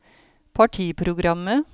partiprogrammet